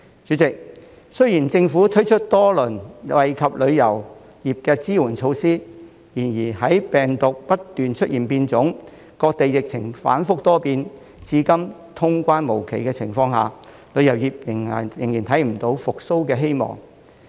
主席，雖然政府推出多輪惠及旅遊業的支援措施，然而，在病毒不斷出現變種、各地疫情反覆多變，至今通關無期的情況下，旅遊業仍然看不到復蘇的希望。